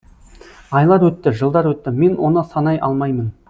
айлар өтті жылдар өтті мен оны санай алмаймын